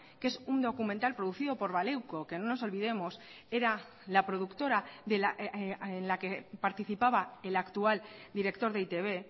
que es un documental producido por baleuko que no nos olvidemos era la productora en la que participaba el actual director de e i te be